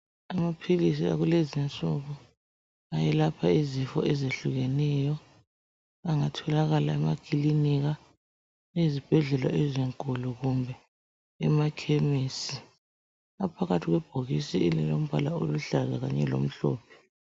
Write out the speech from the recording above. Amaphilisi akulezinsuku eyelapha izifo ezehlukeneyo. Angatholakala emakilinika, ezibhedlela ezinkulu kumbe emakhemesi. Aphakathi kwebhokisi elilombala oluhlaza kanye lomhlophe.